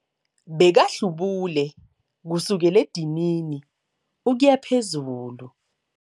Bekahlubule kusukela edinini ukuya phezulu.